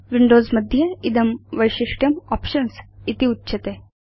Windows मध्ये इदं वैशिष्ट्यं आप्शन्स् इति उच्यते